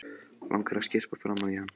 Langar að skyrpa framan í hann.